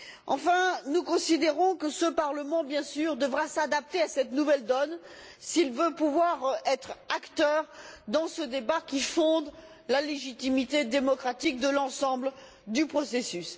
Enfin, nous considérons que ce Parlement, bien sûr, devra s'adapter à cette nouvelle donne s'il veut pouvoir être acteur dans ce débat qui fonde la légitimité démocratique de l'ensemble du processus.